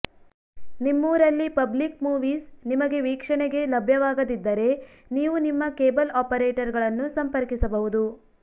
ನಿಮ್ಮೂರಲ್ಲಿ public movies ನಿಮಗೆ ವೀಕ್ಷಣೆಗೆ ಲಭ್ಯವಾಗದಿದ್ದರೆ ನೀವು ನಿಮ್ಮ ಕೇಬಲ್ ಆಪರೇಟರ್ ಗಳನ್ನು ಸಂಪರ್ಕಿಸಬಹುದು